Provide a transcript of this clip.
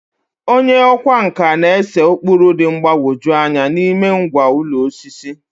Onye ọkwá nkà na-ese ụkpụrụ dị mgbagwoju anya n'ime ngwá ụlọ osisi.